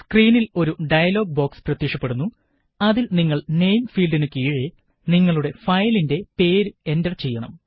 സ്ക്രീനില് ഒരു dialog box പ്രത്യക്ഷപ്പെടുന്നു അതില് നിങ്ങള് നെയിം ഫീല്ഡിന് കീഴെ നിങ്ങളുടെ ഫയലിനെ പേര് എന്റര് ചെയ്യണം